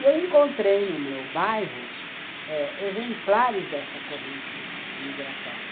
E eu encontrei no meu bairro eh exemplares dessa corrente migratória.